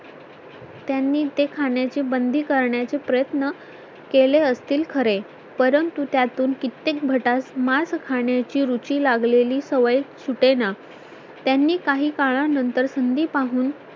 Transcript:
त्यांनी ते खाण्याची बंदी करण्याचे प्रयत्न केले असतील खरे परंतु त्यातून कित्येक भटास मांस खाण्याची रुची लागलेली सवय सुटेना त्यांनी काही काळानंतर संधी पाहून